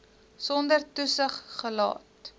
sonder toesig gelaat